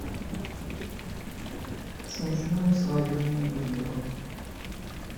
смешное свадебное видео